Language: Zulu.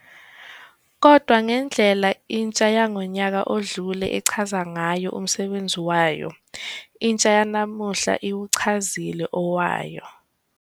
Kodwa ngendlela intsha yangonyaka odlule echaze ngayo umsebenzi wayo, intsha yanamuhla iwuchazile owayo.